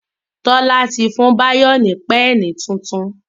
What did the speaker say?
Tola tí fún Bayo ní Pẹ́ẹ̀nì títún.